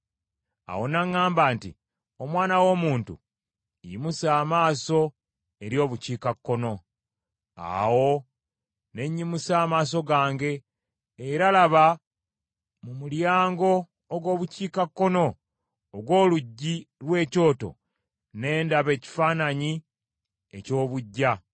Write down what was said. Awo n’aŋŋamba nti, “Omwana w’omuntu, yimusa amaaso eri Obukiikakkono.” Awo ne nnyimusa amaaso gange, era laba mu mulyango ogw’Obukiikakkono ogw’oluggi lw’ekyoto ne ndaba ekifaananyi eky’obuggya.